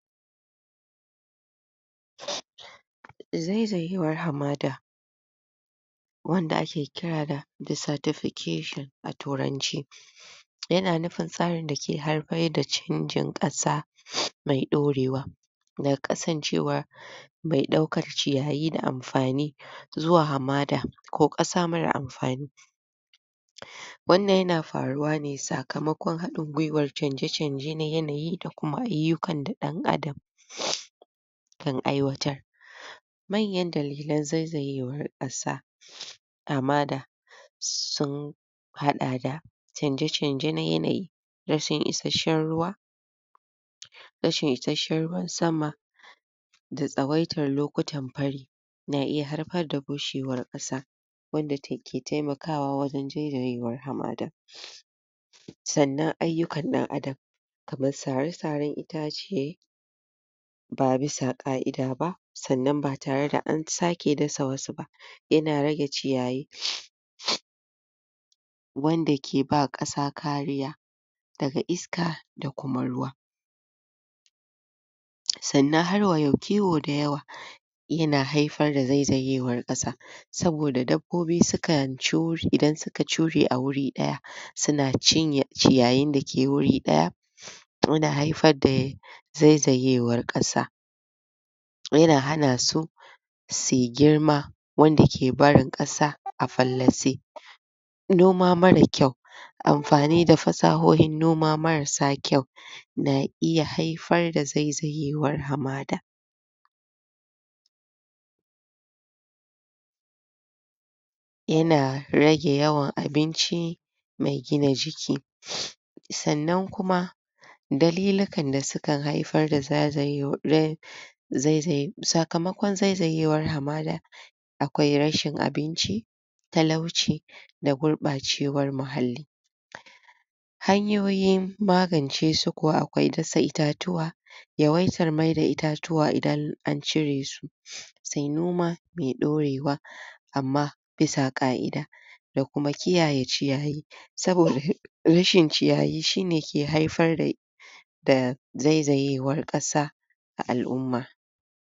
Zaizayewar hamada wanda ake kira da desertification a turanci, ya na nufin tsarin da ke haifar da canjin ƙasa mai ɗorewa, daga kasancewa mai ɗaukar ciyayi da amfani zuwa hamada ko ƙasa marar amfani, wannan ya na faruwa ne sakamakon haɗin gwiwar canje-canje na yanayi da kuma ayyukan da ɗan adam kan aiwatar, manyan dalilan zaizayewar ƙasa hamada sun haɗa da canje-canje na yanayi, rashin isashshen ruwa, rashin isashshen ruwan sama da tsawaitar lokutan fari na iya haifar da bushewar ƙasa wadda ta ke taimakawa wajen zaizayewar hamada, sannan ayyukan ɗan adam kamar sare-saren itace ba bisa ƙa'ida ba, sannnan ba tare da an sake dasa wasu ba, ya na rage ciyayi wanda ke ba ƙasa kariya daga isaka da kuma ruwa, sannan harwa yau kiwo da yawa ya na haifar da zaizayewar ƙasa, saboda dabbobi sukan cu, idan su ka cure a wuri ɗaya, suna cinye ciyayin da ke a wuri ɗaya, ya na haifar da yai zaizayewar ƙasa. ya na hana su su yi girma, wanda ke barin ƙasa a fallase, noma marar kyau amfani da fasahohin noma marasa kyau na iya haifar da zaizayewar hamada, ya na rage yawan abinci mai gina jiki, sannan kuma dalilikan da sukan haifar da zaizayewar zaizaye, sakamakon zaizayewar hamada akwai rashi abinci, talauci, da guɓacewar muhalli. Hanyoyin magancesu kuwa akwai dasa itatuwa, yawaitar maida itatuwa idan an cire su, sai noma mai ɗorewa amma bisa ƙa'ida, da kuma kiyaye ciyayi, saboda rashin ciyayi shine ke haifar da da zaizayewar ƙasa a al'umma.